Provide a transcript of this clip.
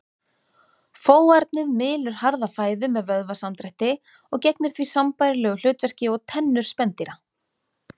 Fóarnið mylur harða fæðu með vöðvasamdrætti og gegnir því sambærilegu hlutverki og tennur spendýra.